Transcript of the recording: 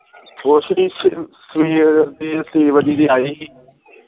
ਕੁਛ ਨੀ ਸਵੇਰ ਦੇ ਛੇ ਵਜੇ ਦੇ ਆਏ ਹੀ